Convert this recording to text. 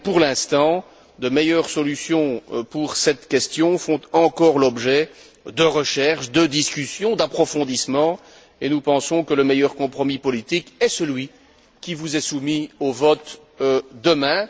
Et donc, pour l'instant, de meilleures solutions pour cette question font encore l'objet de recherches, de discussions, d'approfondissement et nous pensons que le meilleur compromis politique est celui qui vous est soumis au vote demain.